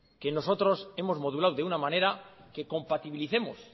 que nosotros hemos modulado de una manera que compatibilicemos